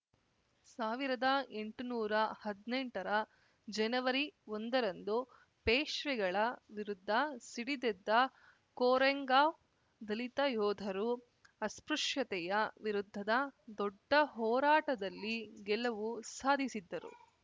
ಸಾವಿರದ ಎಂಟು ನೂರಾ ಹದ್ನೆಂಟರ ಜನವರಿ ಒಂದರಂದು ಪೇಶ್ವೆಗಳ ವಿರುದ್ಧ ಸಿಡಿದೆದ್ದ ಕೊರೆಂಗಾವ್‌ ದಲಿತ ಯೋಧರು ಅಸ್ಪೃಶ್ಯತೆಯ ವಿರುದ್ಧದ ದೊಡ್ಡ ಹೋರಾಟದಲ್ಲಿ ಗೆಲುವು ಸಾಧಿಸಿದ್ದರು